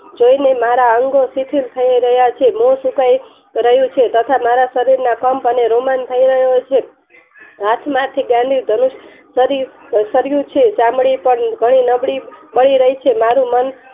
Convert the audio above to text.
મારા અંગો સિંધુલ થઈ રહ્યા છે રહ્યું છે જે મારા શરીર ના કંપ અને રોમન થાય રહ્યો છે હાથમાંથી ધનુસ કરી ચામડી પર નબળી થઈ રહી છે મારુ મન